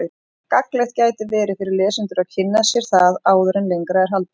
Gagnlegt gæti verið fyrir lesendur að kynna sér það áður en lengra er haldið.